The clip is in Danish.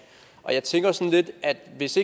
jeg tænker lidt at hvis